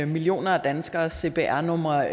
millioner af danskeres cpr numre